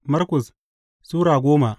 Markus Sura goma